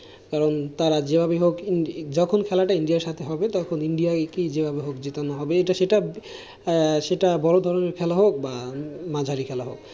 কারণ তারা যেভাবেই হোক যখন খেলাটা ইন্ডিয়ার সাথে হবে তখন ইন্ডিয়ায় কে জেতানো হবে। এটা সেটা, সেটা বড় ধরনের খেলা হোক বা মাঝারি খেলা হোক।